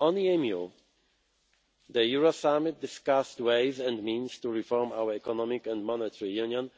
On the EMU, the Euro Summit discussed ways and means to reform our economic and monetary union,